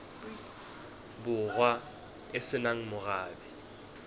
borwa e se nang morabe